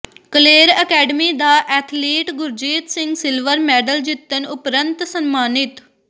Kaler academy ਦਾ athlete Gurjeet Singh silver medal ਜਿੱਤਣ ਉਪਰੰਤ ਸਨਮਾਨਿਤ